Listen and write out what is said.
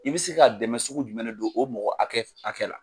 I bɛ se ka dɛmɛ sugu jumɛn le don o mɔgɔ hakɛ hakɛ la.